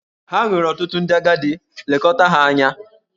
Ha nwere ọtụtụ ndị agadi, lekọta ha anya!